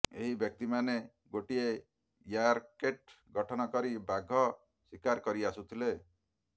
ଏହି ବ୍ୟକ୍ତିମାନେ ଗୋଟିଏ ର୍ୟାକେଟ୍ ଗଠନ କରି ବାଘ ଶିକାର କରି ଆସୁଥିଲେ